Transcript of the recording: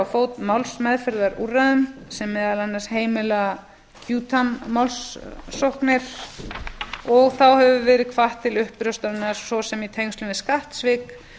fót málsmeðferðarúrræðum sem meðal annars heimila qui tam málssóknir og þá hefur verið hvatt til uppljóstrana svo sem í tengslum við skattsvik